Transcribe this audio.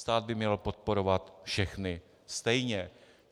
Stát by měl podporovat všechny stejně.